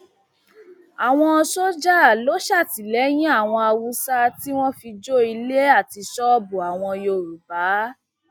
àwọn sójà ló ṣàtìlẹyìn dáwọn haúsá tí wọn fi jó ilé àti ṣọọbù àwọn yorùbá